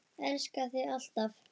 Elska þig alltaf.